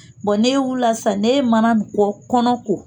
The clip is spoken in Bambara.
ne e wulila sisan n'i ye mana in kɔ, kɔnɔ ko